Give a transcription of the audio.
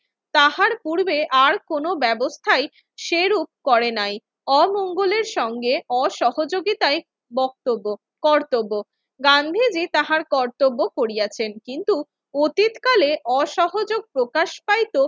তাহার পূর্বে আর কোনো ব্যবস্থাই সেরূপ করে নাই। অমঙ্গলের সঙ্গে অসহযোগিতায় বক্তব্য, কর্তব্য। গান্ধীজি তাহার কর্তব্য করিয়াছেন কিন্তু অতীতকালে অসহযোগ প্রকাশ পাইত